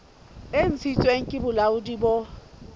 e ntshitsweng ke bolaodi bo